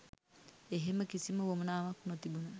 එහෙම කිසිම උවමනාවක් නොතිබුන